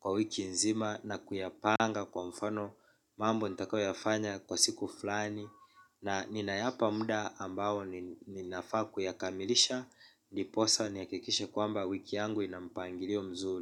kwa wiki nzima. Na kuyapanga kwa mfano mambo nitakayofanya kwa siku flani. Na ninayapa muda ambao ninafaa kuyakamilisha. Ndiposa nihakikishe kwamba wiki yangu inampangilio mzuri.